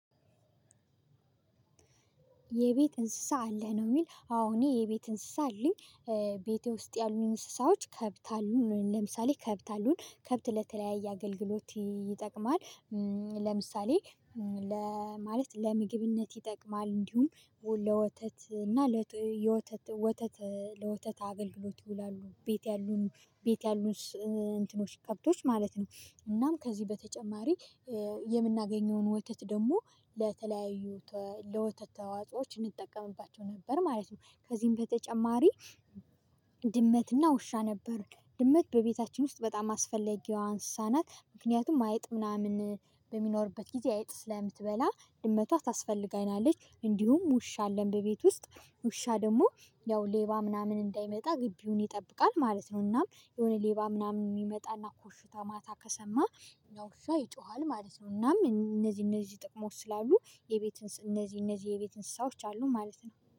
የቤት እንስሳ አለህ ነው? የሚል አዎ እኔ የቤት እንስሳ አለኝ። ቤቴ ውስጥ ያሉ እንስሳዎች ከብት አሉን ለምሳሌ ከብት አሉን ከብት ለተለያየ አገልግሎት ይጠቅማል። ለምሳሌ ለ ማለት ለምግብነት ይጠቅማል እንዲሁም ለወተት እና ለ የወተት ወተት ለወተት አገልግሎት ይውላሉ። ቤት ያሉን ቤት ያሉን እንትኖች ከብቶች ማለት ነው። እናም ከዚህ በተጨማሪ የምናገኘውን ወተት ደግሞ ለተለያዩ ለወተት ተዋጾዎች እንጠቀምባቸው ነበር ማለት ነው። ከዚህም በተጨማሪ ድመትና ውሻ ነበር። ድመት በቤታችን ውስጥ በጣም አስፈለጌዋ አንሰሳ ናት ምክንያቱም አይጥ ምናምን በሚኖርበት ጊዜ አይጥ ስለምትበላ ድመቷ ታስፈልጋናለች። እንዲሁም ውሻ አለን በቤት ውስጥ ውሻ ደግሞ ያው ሌባ ምናምን እንዳይመጣ ግቢውን ይጠብቃል ማለት ነው። እናም የሆነ ሌባ ምናምን የሚመጣና ኮሽታ ማታ ከሰማ ነው ያ ዉሻ ይጮሃል ማለት ነው። እናም እነዚህ እነዚህ ጥቅሞች ስላሉ የቤትን እነዚህ እነዚህ የቤት እንስሳዎች አሉ ማለት ነው